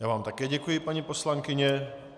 Já vám také děkuji, paní poslankyně.